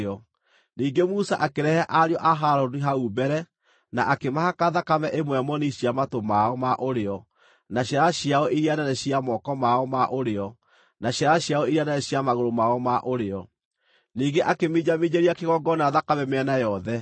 Ningĩ Musa akĩrehe ariũ a Harũni hau mbere, na akĩmahaka thakame ĩmwe moni cia matũ mao ma ũrĩo, na ciara ciao iria nene cia moko mao ma ũrĩo, na ciara ciao iria nene cia magũrũ mao ma ũrĩo. Ningĩ akĩminjaminjĩria kĩgongona thakame mĩena yothe.